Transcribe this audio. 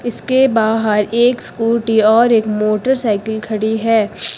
इसके बाहर एक स्कूटी और एक मोटरसाइकिल खड़ी है।